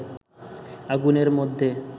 আগুনের মধ্যে